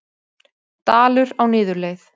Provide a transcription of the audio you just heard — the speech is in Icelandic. Dalur á niðurleið